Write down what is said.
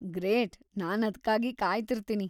Great! ನಾನ್‌ ಅದ್ಕಾಗಿ ಕಾಯ್ತಿರ್ತೀನಿ.